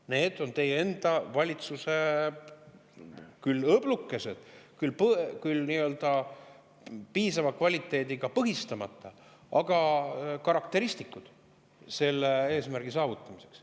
Need on teie enda valitsuse õblukesed, nii-öelda piisava kvaliteediga põhistamata karakteristikud selle eesmärgi saavutamiseks.